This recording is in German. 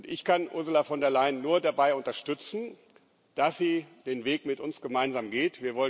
Ich kann Ursula von der Leyen nur dabei unterstützen, dass sie den Weg mit uns gemeinsam geht.